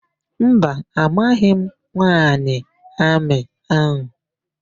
Mba, amaghị m nwaanyị amị áhụ̀.